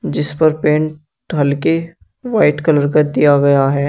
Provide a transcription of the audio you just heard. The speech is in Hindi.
जिस पर पेंट हल्के व्हाइट कलर का दिया गया है।